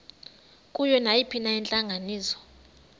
kuyo nayiphina intlanganiso